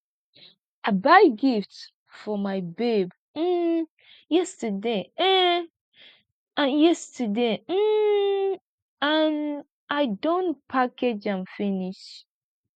i buy gift for my babe um yesterday um and yesterday um and i don package am finish